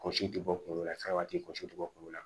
Kɔsi tɛ bɔ kungolo la fɛnba tɛ kɔsi tɛ bɔ kunkolo la